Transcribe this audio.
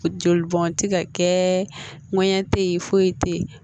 Joli bɔn tɛ ka kɛ ŋɛɲɛ te ye foyi te yen